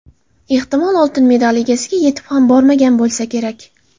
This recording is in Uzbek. Ehtimol, oltin medal egasiga yetib ham bormagan bo‘lsa kerak.